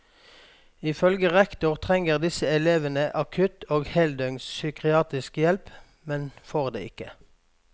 Ifølge rektor trenger disse elevene akutt og heldøgns psykiatrisk hjelp, men får det ikke.